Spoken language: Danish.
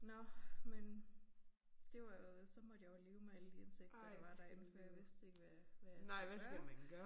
Nåh men det var jo så måtte jeg jo leve med alle de insekter der var derinde for jeg vidste ikke hvad hvad jeg skulle gøre